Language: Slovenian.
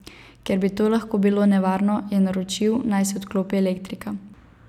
Ker bi to lahko bilo nevarno, je naročil, naj se odklopi elektrika.